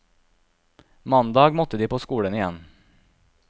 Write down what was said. Mandag måtte de på skolen igjen.